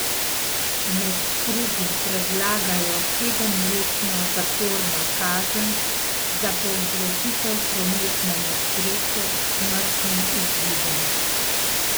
Med drugim predlagajo sedemletno zaporno kazen za povzročitev prometne nesreče s smrtnim izidom.